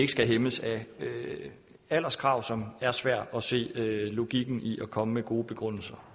skal hæmmes af alderskrav som er svært at se logikken i og komme med gode begrundelser